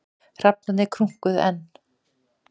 Hrafnarnir krunkuðu enn.